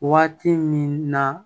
Waati min na